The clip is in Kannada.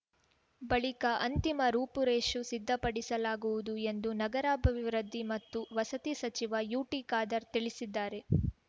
ಬಳಿಕ ಅಂತಿಮ ರೂಪುರೇಷು ಸಿದ್ಧಪಡಿಸಲಾಗುವುದು ಎಂದು ನಗರಾಭಿವೃದ್ಧಿ ಮತ್ತು ವಸತಿ ಸಚಿವ ಯುಟಿ ಖಾದರ್‌ ತಿಳಿಸಿದ್ದಾರೆ